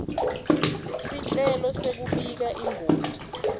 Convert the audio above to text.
sicelo sekubika ingoti